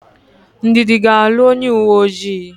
Ndidi ga-alụ onyeuweojii.